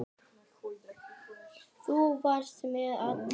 Þú varst mér allt.